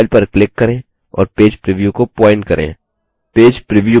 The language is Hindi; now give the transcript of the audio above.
file पर click करें और page preview को प्वॉइंट करें